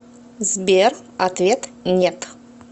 сбер ответ нет